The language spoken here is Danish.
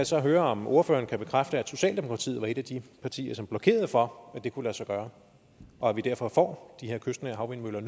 så høre om ordføreren kan bekræfte at socialdemokratiet var et af de partier som blokerede for at det kunne lade sig gøre og at vi derfor nu får de her kystnære havvindmøller